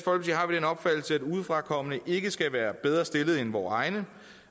udefrakommende ikke skal være bedre stillede end vore egne